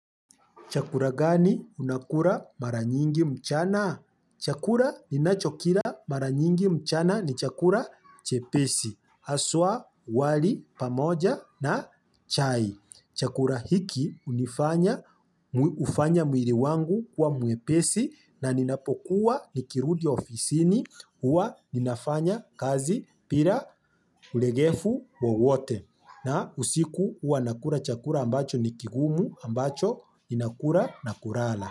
Chakura gani unakura mara nyingi mchana? Chakura ninachokira mara nyingi mchana ni chakura chepesi, haswa, wali, pamoja na chai. Chakura hiki, unifanya, ufanya mwiri wangu kuwa mwepesi na ninapokuwa nikirudi ofisini, uwa ninafanya kazi pira ulegefu wowote. Na, usiku, uwa nakura chakura ambacho ni kigumu ambacho ninakura na kurala.